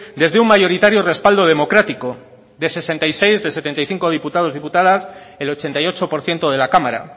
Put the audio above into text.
desde un mayoritario respaldo democrático de sesenta y seis de setenta y cinco diputados diputadas el ochenta y ocho por ciento de la cámara